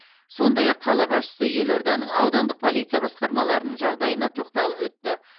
сондай ақ қала басшысы елорданың аудандық полиция басқармаларының жағдайына тоқталып өтті